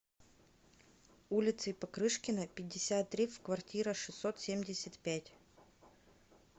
улицей покрышкина пятьдесят три в квартира шестьсот семьдесят пять